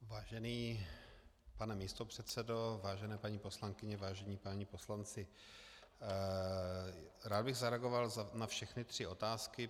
Vážený pane místopředsedo, vážená paní poslankyně, vážení páni poslanci, rád bych zareagoval na všechny tři otázky.